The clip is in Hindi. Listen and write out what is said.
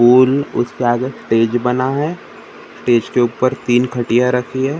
पूल उसका गट तेज बना है तेज के उपर तीन खटिया रखी है ।